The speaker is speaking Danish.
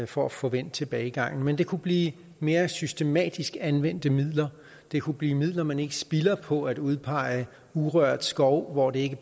for at få vendt tilbagegangen men det kunne blive mere systematisk anvendte midler det kunne blive midler man ikke spilder på at udpege urørt skov hvor det